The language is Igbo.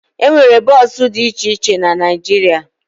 E nwere bọọsụ dị iche iche na Naịjirịa